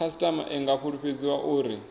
khasitama i nga fulufhedziswa uri